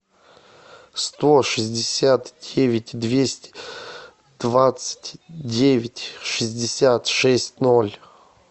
сто шестьдесят девять двести двадцать девять шестьдесят шесть ноль